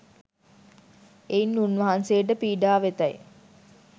එයින් උන්වහන්සේට පීඩා වෙතැයි